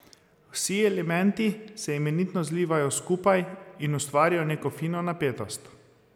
Vsi elementi se imenitno zlivajo skupaj in ustvarijo neko fino napetost.